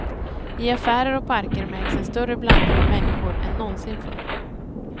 I affärer och parker märks en större blandning av människor än någonsin förr.